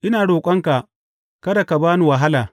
Ina roƙonka, kada ka ba ni wahala!